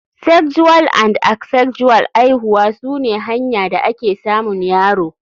Sexual and Asexual aihuwa sune hanya da ake samun yaro.